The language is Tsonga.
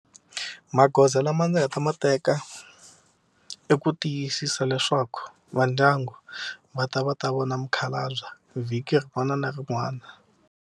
Magoza lama ndzi nga ta ma teka i ku tiyisisa leswaku va ndyangu va ta va ta vona mukhalabye vhiki rin'wana na rin'wana.